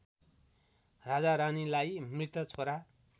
राजारानीलाई मृत छोरा